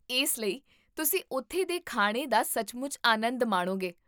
ਇਸ ਲਈ ਤੁਸੀਂ ਉੱਥੇ ਦੇ ਖਾਣੇ ਦਾ ਸੱਚਮੁੱਚ ਆਨੰਦ ਮਾਣੋਗੇ